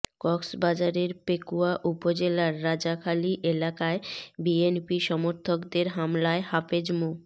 কক্সবাজারের পেকুয়া উপজেলার রাজাখালী এলাকায় বিএনপি সমর্থকদের হামলায় হাফেজ মো